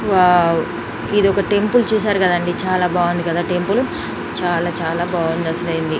Wow ఇది ఒక temple .చూసారు కదా అండి.చాల బాగుంది కదా టెంపుల్. చాల చాల బాగుంది. అసలైంది. .